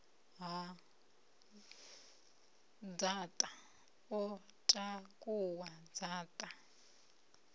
ha dzaṱa o takuwa dzaṱa